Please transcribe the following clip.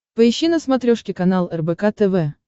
поищи на смотрешке канал рбк тв